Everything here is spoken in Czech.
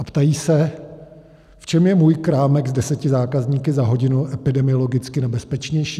A ptají se: V čem je můj krámek s deseti zákazníky za hodinu epidemiologicky nebezpečnější?